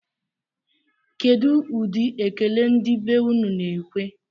Kedụ ụdị ekele ndị be unu na-ekwe?